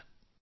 ನಮಸ್ಕಾರ